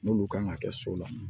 N'olu kan ka kɛ so la